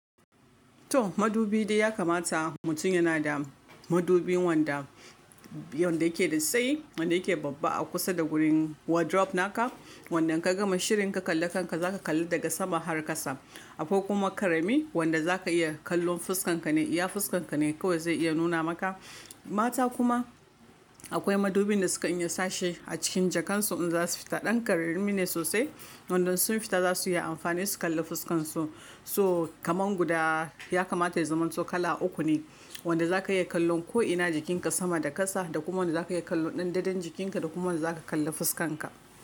To madubi dai ya kamata mutum yana da madubin wanda, wanda yake da tsayi, wanda yake babba a kusa da gurin wardrobe naka. Wanda in ka gama shirin ka kalla kanka za ka kalli daga sama har kasa. Ako kuma karami wanda za ka iya kallon fuskanka ne, iya fuskanka ne kawai zai iya nuna maka. Mata kuma akwai madubin da sukan iya sashi a cikin jakansu in za su fita. Ɗan ƙararrummi ne sosai, wanda in sun fita za su iya amfani su kalla fuskansu. So kaman guda ya kamata ya zaman to kala uku ne. Wanda za ka iya kallon ko'ina jikinka sama da kasa, da kuma wanda za ka iya kallon ɗanɗanon jikinka, da kuma wanda za ka kalla fuskanka.